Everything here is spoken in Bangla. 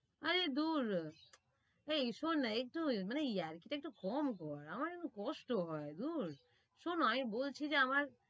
আরে দূর এই শোন না একটু মানে ইয়ার্কিটা একটু কম কর, আমার একটু কষ্ট হয়, শোন বলছি যে আমার